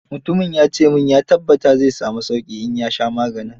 Mutumin ya ce min ya tabbata zai sami sauqi in ya sha maganin.